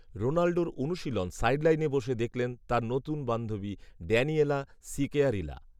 রোনাল্ডোর অনুশীলন সাইডলাইনে বসে দেখলেন তাঁর নতুন বান্ধবী, ড্যানিয়েলা সিকেয়ারিলা